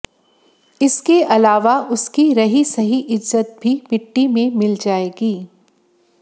इसके अलावा उसकी रही सही इज़्ज़त भी मिट्टी में मिल जाएगी